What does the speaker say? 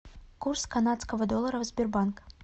курс канадского доллара в сбербанк